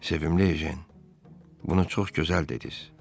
Sevimli ejen, bunu çox gözəl dediz.